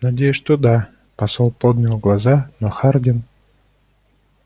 надеюсь что да посол поднял глаза но хардин